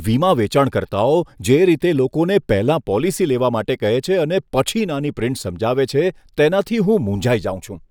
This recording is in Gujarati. વીમા વેચાણકર્તાઓ જે રીતે લોકોને પહેલા પોલિસી લેવા માટે કહે છે અને પછી નાની પ્રિન્ટ સમજાવે છે તેનાથી હું મૂંઝાઈ જાઉં છું.